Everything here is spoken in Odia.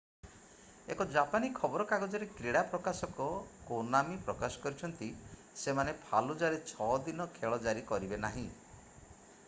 ଏକ ଜାପାନୀ ଖବର କାଗଜରେ କ୍ରୀଡା ପ୍ରକାଶକ କୋନାମୀ ପ୍ରକାଶ କରିଛନ୍ତି ସେମାନେ ଫାଲୁଜାରେ 6 ଦିନ ଖେଳ ଜାରି କରିବେ ନାହିଁ